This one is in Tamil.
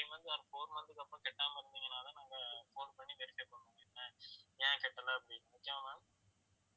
three months or four month க்கு அப்புறம் கட்டாம இருந்தீங்கன்னாதான் நாங்க phone பண்ணி verify பண்ணுவோம் என்ன ஏன் கட்டலை அப்படின்னு okay வா ma'am